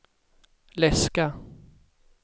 läska